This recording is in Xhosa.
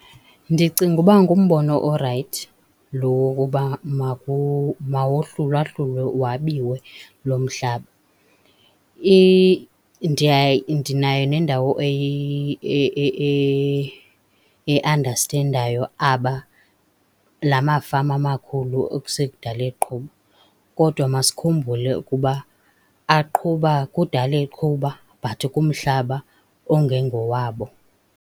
Ndicinga uba ngumbono orayithi loo wokuba mawohlulahlulwe wabiwe lo mhlaba. Ndinayo nendawo eandastendayo aba, la mafama makhulu ekusekudala eqhuba. Kodwa masikhumbule ukuba aqhuba, kudala eqhuba but kumhlaba ongengowabo.